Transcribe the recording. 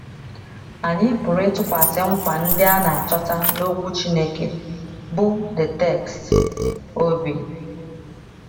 Anyị pụrụ ịtụkwasị nkwa ndị a na - achọta n’Okwu Chineke, bụ́ the text, obi.